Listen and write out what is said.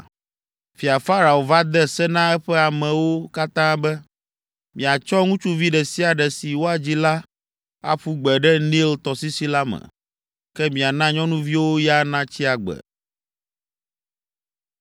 Fia Farao va de se na eƒe amewo katã be, “Miatsɔ ŋutsuvi ɖe sia ɖe si woadzi la aƒu gbe ɖe Nil tɔsisi la me, ke miana nyɔnuviwo ya natsi agbe.”